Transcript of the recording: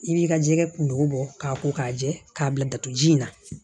I b'i ka jɛgɛ kun bɔ k'a ko k'a jɛ k'a bila dato ji in na